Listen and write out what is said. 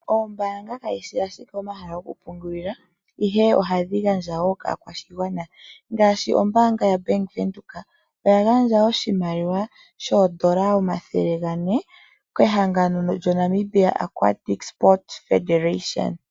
Oombaanga kadhishi owala omahala gokupungulila, ihe ohadhi gandja wo kaakwashigwana. Ngaashi ombaanga yoBank Windhoek, oya gandja oshimaliwa shoondola omayovi omathele gane kehangano lyo Namibia Aquatic Sport Federation.